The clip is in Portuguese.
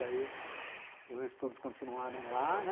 Daí os estudos continuaram lá, né?